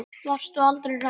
Varstu aldrei hrædd?